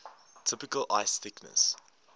typical ice thickness